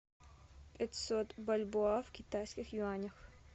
пятьсот бальбоа в китайских юанях